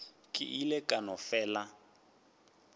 ke ile ka no fela